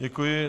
Děkuji.